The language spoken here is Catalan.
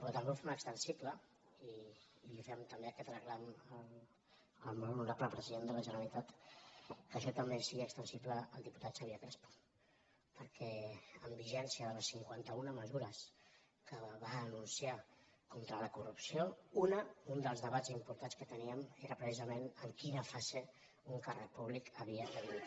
però també ho fem extensible i fem també aquest reclam al molt honorable president de la gene·ralitat que això també sigui extensible al diputat xa·vier crespo perquè en vigència de les cinquanta·una mesures que va anunciar contra la corrupció una un dels debats importants que teníem era precisament en quina fase un càrrec públic havia de dimitir